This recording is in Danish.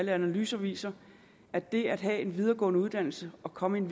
analyser viser at det at have en videregående uddannelse og komme ind